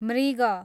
मृग